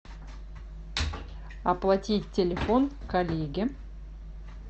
оплатить телефон коллеге